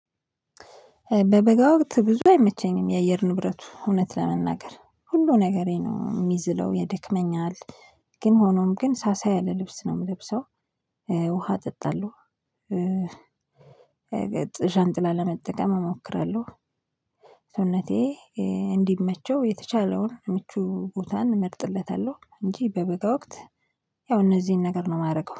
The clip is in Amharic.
በበጋ ወቅት ብዙ አይመቸኝም የአየር ንብረቱ እውነት ለመናገር ሁሉ ነገሬ ነው የሚዝለው ይደክመኛል ግን ሆኖም ግን ሳሳ ያለ ልብስ ነው የምለብሰው ውሃ እጠጣለሁ፣ ዣንጥላ ለመጠቀም እሞክራለሁ፣ ሰውነቴ እንዲመቸው የተቻለውን ምቹ ቦታን እመርጥለታለሁ እንጂ በበጋ ወቅት ያው እነዚህን ነገር ነው የማደርገው።